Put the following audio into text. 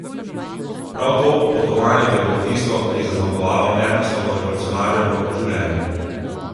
Prav to potovanje pa je bilo tisto, ki je zaznamovalo Ernestovo revolucionarjevo življenje.